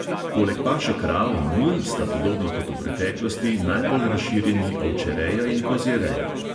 Poleg paše krav in mul sta podobno kot v preteklosti najbolj razširjeni ovčereja in kozjereja.